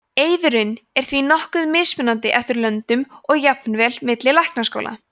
eiðurinn er því nokkuð mismunandi eftir löndum og jafnvel milli læknaskóla